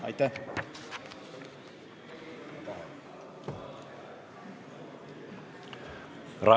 Aitäh!